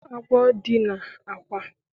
Agwo dina akwa